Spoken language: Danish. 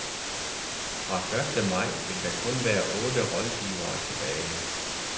Fra første maj vil der kun være otte rådgivere tilbage.